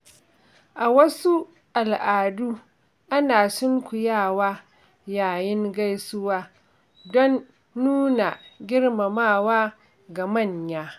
A wasu al'adu, ana sunkuyawa yayin gaisuwa don nuna girmamawa ga manya.